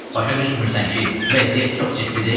"Başa düşmürsən ki, vəziyyət çox ciddidir?!"